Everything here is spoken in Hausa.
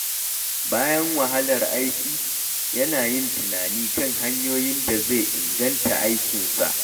Bayan wahalar aiki, yana yin tunani kan hanyoyin da zai inganta aikinsa.